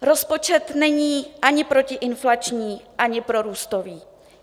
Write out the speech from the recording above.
Rozpočet není ani protiinflační, ani prorůstový.